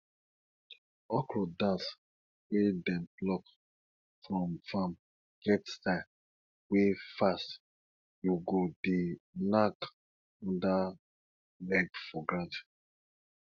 okro dance wey dem pluck from farm get style wey fast you go dey knack under leg for ground